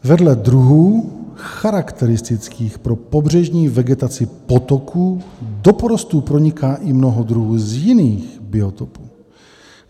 Vedle druhů charakteristických pro pobřežní vegetaci potoků do porostů proniká i mnoho druhů z jiných biotopů.